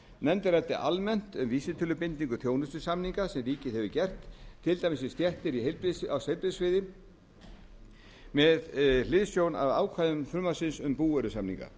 nefndin ræddi almennt um vísitölubindingu þjónustusamninga sem ríkið hefur gert til dæmis við stéttir á heilbrigðissviði og með hliðsjón af ákvæðum frumvarpsins um búvörusamninga